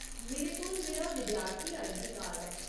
मेरे कोल मेरा विद्यार्थी आईडी कार्ड ऐ।